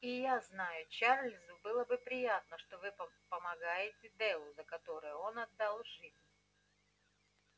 и я знаю чарлзу было бы приятно что вы помогаете делу за которое он отдал жизнь